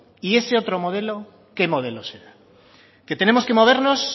y ese otro modelo qué modelo será que tenemos que movernos